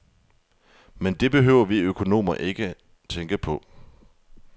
Men det behøver vi økonomer ikke tænke på.